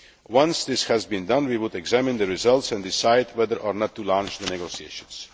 Once that has been done, we would examine the results and decide whether or not to launch the negotiations.